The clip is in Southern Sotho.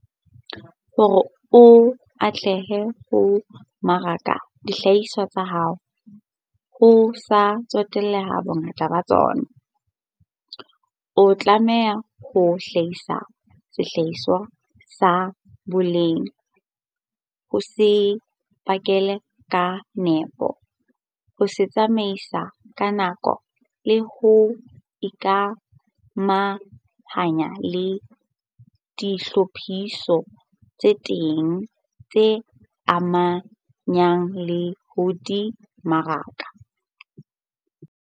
Hore o atlehe ho mmaraka dihlahiswa tsa hao - ho sa tsotellehe bongata ba tsona - o tlamehile ho hlahisa sehlahiswa sa boleng, ho se pakela ka nepo, ho se tsamaisa ka nako le ho ikamahanya le ditlhophiso tse ding tse amanang le ho di mmaraka.